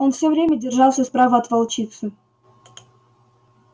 он всё время держался справа от волчицы